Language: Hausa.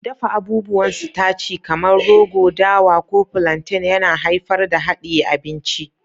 Dafa abubuwan sitaci kamar rogo, dawa, ko plantain yana haifar da hadiye abinci.